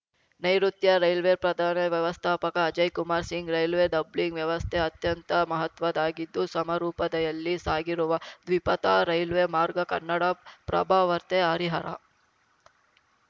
ನೈರುತ್ಯ ರೈಲ್ವೆ ಪ್ರಧಾನ ವ್ಯವಸ್ಥಾಪಕ ಅಜಯ್ ಕುಮಾರ್ ಸಿಂಗ್‌ ರೈಲ್ವೆ ಡಬ್ಲಿಂಗ್‌ ವ್ಯವಸ್ಥೆ ಅತ್ಯಂತ ಮಹತ್ವದ್ದಾಗಿದ್ದು ಸಮರೋಪಾದಿಯಲ್ಲಿ ಸಾಗಿರುವ ದ್ವಿಪಥ ರೈಲ್ವೆ ಮಾರ್ಗ ಕನ್ನಡಪ್ರಭವಾರ್ತೆ ಹರಿಹರ